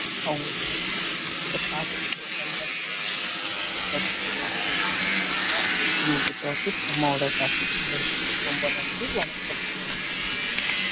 அவங்களுக்காக நாம பிடிச்சத பாத்துகிட்டு நல்ல படியா நம்ம இருக்கணும் சரிங்களா இன்னைக்கு topic அம்மாவோட topic ரொம்ப நன்றி வணக்கம்